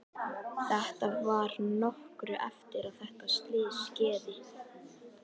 Þetta var nokkru eftir að þetta slys skeði.